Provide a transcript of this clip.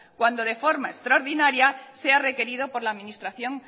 cuando de forma extraordinaria sea requerido por la administración